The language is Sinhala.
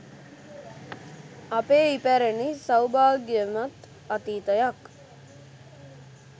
අපේ ඉපැරණි සෞභාග්‍යමත් අතීතයක්